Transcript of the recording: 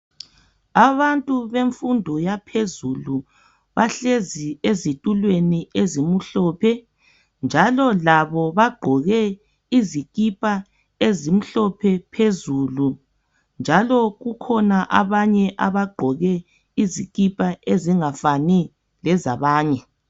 Abantu bemfundo yaphezulu bahlezi ezitulweni ezimhlophe njalo labo bagqoke izikipa ezimhlophe phezulu njalo kukhona abanye abagqoke izikipa ezingafani labanye.